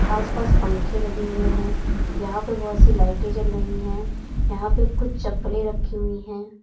आसपास पंखे लगे हुए हैं यहां पे बहोत सी लाइटें जल रही हैं यहां पे कुछ चप्पलें रखी हुई हैं।